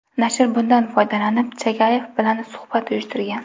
Nashr bundan foydalanib Chagayev bilan suhbat uyushtirgan.